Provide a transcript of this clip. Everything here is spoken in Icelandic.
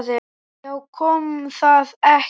Já, kom það ekki!